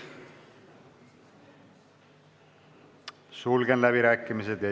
Sulgen läbirääkimised.